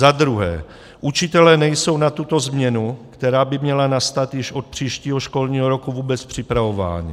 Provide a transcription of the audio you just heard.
Za druhé, učitelé nejsou na tuto změnu, která by měla nastat již od příštího školního roku, vůbec připravováni.